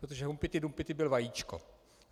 Protože Humpty Dumpty byl vajíčko.